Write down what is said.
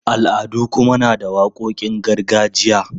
Al'adu kuma na da waƙoƙin gargajiya.